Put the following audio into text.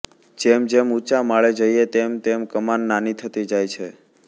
જેમજેમ ઉંચા માળે જઈએ તેમ તેમ કમાન નાની થતી જાય છે